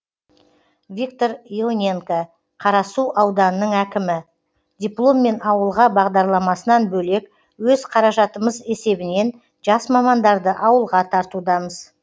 виктор ионенко қарасу ауданының әкімі дипломмен ауылға бағдарламасынан бөлек өз қаражатымыз есебінен жас мамандарды ауылға тартудамыз